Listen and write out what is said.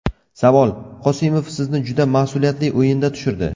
Savol: Qosimov sizni juda mas’uliyatli o‘yinda tushirdi.